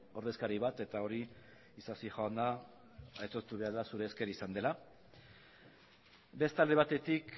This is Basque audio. ordezkari bat eta hori isasi jauna aitortu behar da zure esker izan dela beste alde batetik